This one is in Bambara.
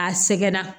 A sɛgɛnna